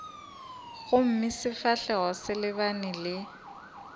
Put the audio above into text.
gomme sefahlogo se lebane le